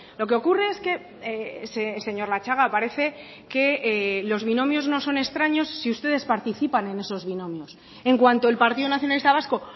lo que ocurre es que señor latxaga parece que los binomios no son extraños si ustedes participan en esos binomios en cuanto el partido nacionalista vasco